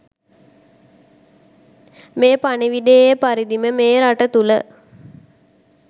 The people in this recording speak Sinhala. මේ පණිවිඩයේ පරිදිම මේ රට තුල